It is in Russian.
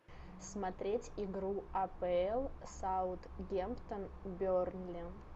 смотреть игру апл саутгемптон бернли